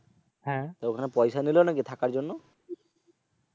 ওখানে পয়সা নিল নাকি থাকার জন্য?